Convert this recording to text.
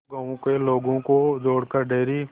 दो गांवों के लोगों को जोड़कर डेयरी